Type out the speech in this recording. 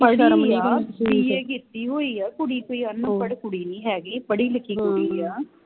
ਪੜੀ ਆ BA ਕੀਤੀ ਹੋਈ ਆ ਕੁੜੀ ਕੋਈ ਅਨਪੜ੍ਹ ਕੁੜੀ ਨਹੀਂ ਹੈਗੀ ਪੜੀ ਲਿਖੀ ਕੁੜੀ ਆ